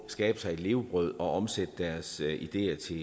skabe sig et levebrød og omsætte deres ideer til